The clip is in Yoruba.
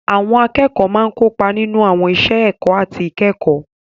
Àwọn akẹ́kọ̀ọ́ máa ń kópa nínú àwọn iṣẹ́ ẹ̀kọ́ àti ìkẹ́kọ̀ọ́.